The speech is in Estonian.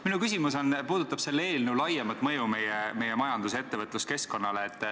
Minu küsimus puudutab selle eelnõu laiemat mõju meie majandus- ja ettevõtluskeskkonnale.